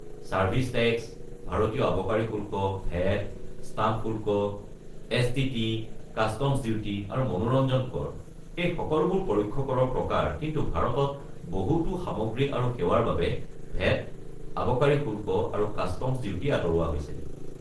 Service tax, ভাৰতীয় আবকাৰী শুল্ক, ভেট, ষ্টাম্প শুল্ক, এছ.টি.টি., কাষ্টমছ ডিউটি, আৰু মনোৰঞ্জন কৰ, এই সকলোবোৰ পৰোক্ষ কৰৰ প্ৰকাৰ, কিন্তু ভাৰতত বহুতো সামগ্ৰী আৰু সেৱাৰ বাবে ভেট, আবকাৰী শুল্ক আৰু কাষ্টমছ ডিউটি আঁতৰোৱা হৈছে।